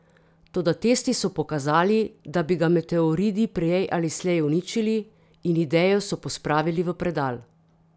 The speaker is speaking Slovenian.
Toda testi so pokazali, da bi ga meteoridi prej ali slej uničili, in idejo so pospravili v predal.